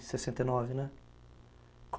sessenta e nove, né?